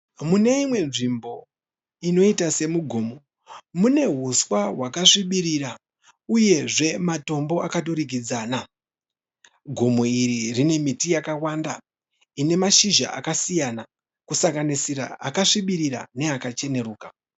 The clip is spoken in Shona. Mune imwe nzvimbo inoita semugomo mune huswa wakasvibirira uyezve matombo akaturikidzana, gomo iri rine miti yakawanda rine mashizha akasiyana kusanganisira akasvibira neakacheneruka.